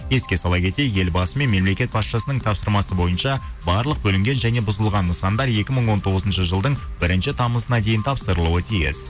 еске сала кетейік елбасы мен мемлекет басшысының тапсырмасы бойынша барлық бүлінген және бұзылған нысандар екі мың он тоғызыншы жылдың бірінші тамызына дейін тапсырылуы тиіс